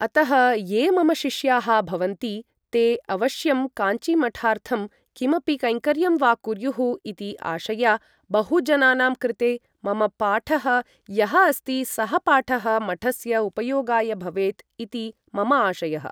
अतः ये मम शिष्याः भवन्ति ते अवश्यं काञ्चिीमठार्थं किमपि कैङ्कर्यं वा कुर्युः इति आशया बहुजनानां कृते मम पाठः यः अस्ति सः पाठः मठस्य उपयोगाय भवेत् इति मम आशयः ।